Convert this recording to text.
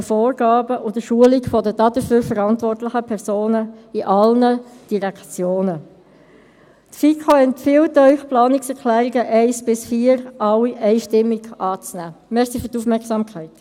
«Der Grosse Rat fordert die involvierten Akteure, namentlich den Regierungsrat, die federführende Finanzdirektion und die Finanzdienste der Direktionen, der Staatskanzlei und der Justiz auf, sich nach besten